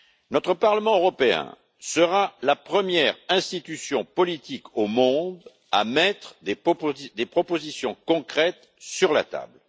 Notre Parlement européen sera la première institution politique au monde à mettre des propositions concrètes sur la table.